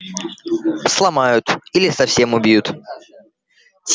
сломают или совсем убьют